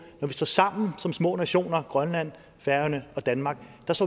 står sammen som små nationer grønland færøerne og danmark